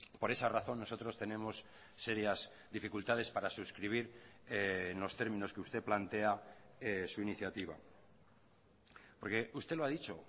por esa razón nosotros tenemos serias dificultades para suscribir en los términos que usted plantea su iniciativa porque usted lo ha dicho